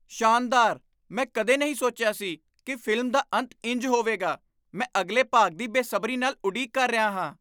ਸ਼ਾਨਦਾਰ! ਮੈਂ ਕਦੇ ਨਹੀਂ ਸੋਚਿਆ ਸੀ ਕਿ ਫ਼ਿਲਮ ਦਾ ਅੰਤ ਇੰਜ ਹੋਵੇਗਾ। ਮੈਂ ਅਗਲੇ ਭਾਗ ਦੀ ਬੇਸਬਰੀ ਨਾਲ ਉਡੀਕ ਕਰ ਰਿਹਾ ਹਾਂ।